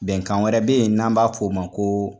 Bɛnkan wɛrɛ be yen n'an b'a f'o ma ko